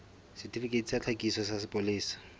setifikeiti sa tlhakiso sa sepolesa